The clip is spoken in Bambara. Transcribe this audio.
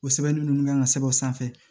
O sɛbɛnni ninnu kan ka sɛbɛn o sanfɛ